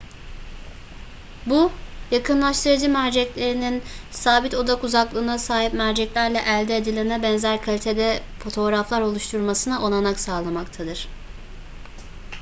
bu yakınlaştırıcı merceklerinin sabit odak uzaklığına sahip merceklerle elde edilene benzer kalitede fotoğraflar oluşturmasına olanak sağlamaktadır